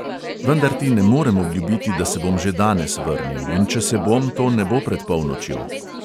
Vendar ti ne morem obljubiti, da se bom že danes vrnil, in če se bom, to ne bo pred polnočjo.